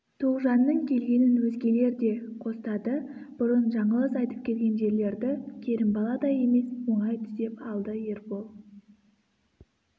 тоғжанның келгенін өзгелер де қостады бұрын жаңылыс айтып келген жерлерді керімбаладай емес оңай түзеп алды ербол